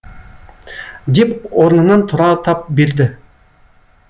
деп орнынан тұра тап берді